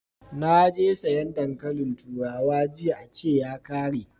Naje sayan dankalin turawa jiya a ce ya kare